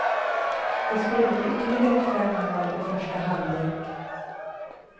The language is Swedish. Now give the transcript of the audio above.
Det skulle bli ytterligare fem mål i första halvlek.